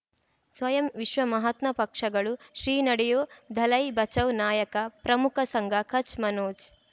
ಸ್ವಯಂ ವಿಶ್ವ ಮಹಾತ್ಮ ಪಕ್ಷಗಳು ಶ್ರೀ ನಡೆಯೂ ದಲೈ ಬಚೌ ನಾಯಕ ಪ್ರಮುಖ ಸಂಘ ಕಚ್ ಮನೋಜ್